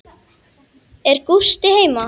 Er Gústi heima?